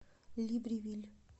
либревиль